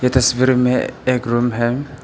ये तस्वीर में एक रूम है।